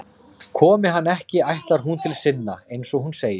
Komi hann ekki ætlar hún til sinna, eins og hún segir.